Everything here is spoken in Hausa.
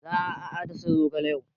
Za a dasa zogale yau.